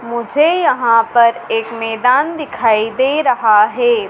मुझे यहां पर एक मैदान दिखाई दे रहा है।